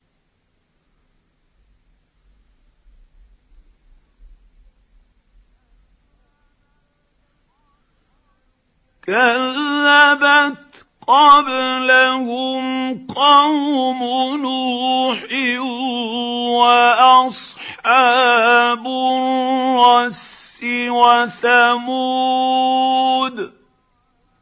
كَذَّبَتْ قَبْلَهُمْ قَوْمُ نُوحٍ وَأَصْحَابُ الرَّسِّ وَثَمُودُ